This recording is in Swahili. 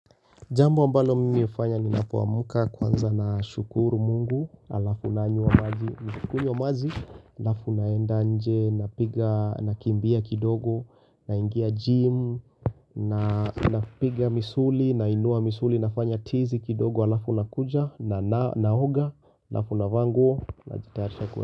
Jambo ambalo mimi hufanya ninapoamka kwanza nashukuru mungu Alafu nanywa maji, nikikunywa maji, alafu naenda nje, napiga, nakimbia kidogo, naingia gym na napiga misuli, nainua misuli, nafanya tizi kidogo, lafu nakuja, na naoga, alafu navaa nguo, najitayarisha kuwe.